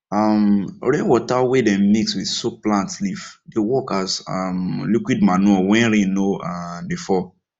um rainwater wey dem mix with soak plant leaf dey work as um liquid manure when rain no um dey fall